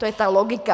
To je ta logika.